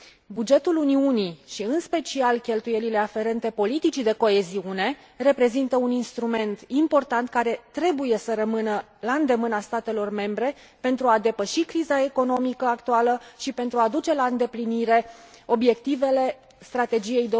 Bugetul Uniunii, și în special cheltuielile aferente politicii de coeziune, reprezintă un instrument important care trebuie să rămână la îndemâna statelor membre pentru a depăși criza economică actuală și pentru a duce la îndeplinire obiectivele Strategiei